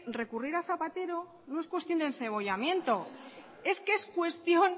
recurrir a zapatero no es cuestión de encebollamiento es que es cuestión